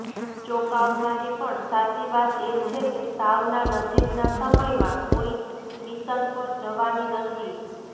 ચોંકાવનારી પણ સાચી વાત એ છે કે શાવના નજીકના સમયમાં કોઈ મિશન પર જવાની નથી